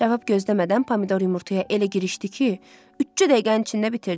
Cavab gözləmədən pomidor yumurtaya elə girişdi ki, üçcə dəqiqənin içində bitirdi.